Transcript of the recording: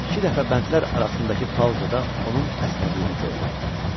İki dəfə bəndlər arasındakı pauzada onun əsnədiyini gördüm.